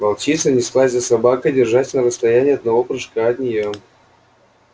волчица неслась за собакой держась на расстоянии одного прыжка от неё